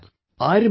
Yes sir...